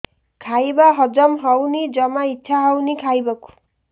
ଖାଇବା ହଜମ ହଉନି ଜମା ଇଛା ହଉନି ଖାଇବାକୁ